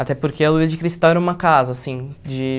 Até porque a Lua de Cristal era uma casa, assim. De